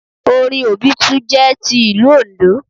Orin obitun jẹ́ ti ilú oǹdó